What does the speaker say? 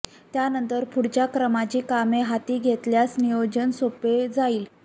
त्यानंतर पुढच्या क्रमाची कामे हाती घेतल्यास नियोजन सोपे जाईल